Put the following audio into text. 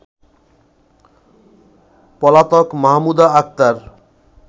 পলাতক মাহমুদা আক্তার